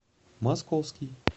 московский